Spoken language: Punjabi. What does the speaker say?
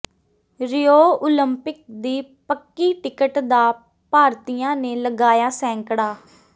ਰਿਓ ਓਲੰਪਿਕ ਦੀ ਪੱਕੀ ਟਿਕਟ ਦਾ ਭਾਰਤੀਆਂ ਨੇ ਲਗਾਇਆ ਸੈਂਕੜਾ